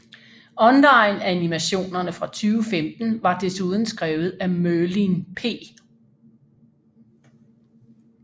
Onlineanimationerne fra 2015 var desuden skrevet af Merlin P